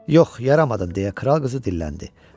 Yox, yaramadın deyə kral qızı dilləndi.